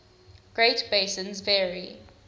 great basins vary